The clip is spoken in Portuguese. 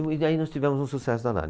E daí nós tivemos um sucesso danado.